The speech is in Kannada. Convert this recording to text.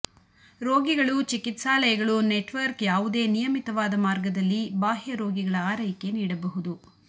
ರೋಗಿಗಳು ಚಿಕಿತ್ಸಾಲಯಗಳು ನೆಟ್ವರ್ಕ್ ಯಾವುದೇ ನಿಯಮಿತವಾದ ಮಾರ್ಗದಲ್ಲಿ ಬಾಹ್ಯ ರೋಗಿಗಳ ಆರೈಕೆ ನೀಡಬಹುದು